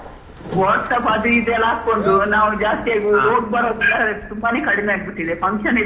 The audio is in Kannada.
Whatsapp ಅದು ಇದು ಎಲ್ಲಾ ಹಾಕೊಂಡು ನಾವ್ ಜಾಸ್ತಿ ಆಗಿ ಹೋಗ್ ಬರೋದೆಲ್ಲ ತುಂಬಾನೇ ಕಡಿಮೆ ಆಗ್ಬಿಟ್ಟಿದೆ, function ಇದ್ರೆ .